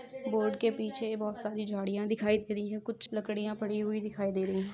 Board के पीछे बहुत सारी झाडिया दिखाई दे रही है कुछ लकड़िया पड़ी हुई दिखाई दे रही है।